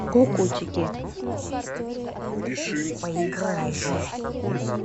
кукутики